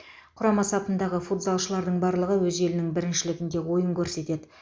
құрама сапындағы футзалшылардың барлығы өз елінің біріншілігінде ойын көрсетеді